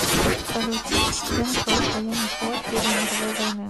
салют где началось военный флот первой мировой войны